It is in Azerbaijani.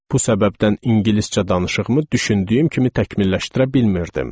Bu səbəbdən ingiliscə danışığımı düşündüyüm kimi təkmilləşdirə bilmirdim.